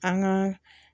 An ka